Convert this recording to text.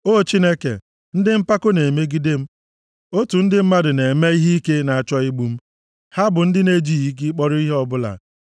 O Chineke, ndị mpako na-emegide m; otù ndị mmadụ na-eme ihe ike na-achọ igbu m, ha bụ ndị na-ejighị gị kpọrọ ihe ọbụla.